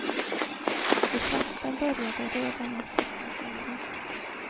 De flesta började redan i sexårsåldern.